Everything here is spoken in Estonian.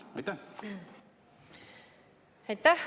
Aitäh!